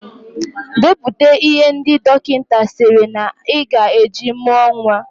Depụta ihe ndị dọkịta sịrị na Ị gaa eji mụọ nwa